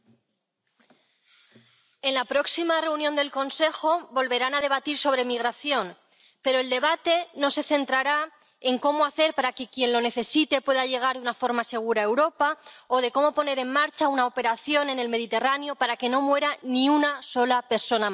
Señora presidenta, en la próxima reunión del Consejo volverán a debatir sobre migración, pero el debate no se centrará en qué hacer para que quien lo necesite pueda llegar de una forma segura a Europa o en cómo poner en marcha una operación en el Mediterráneo para que no muera ni una sola persona más.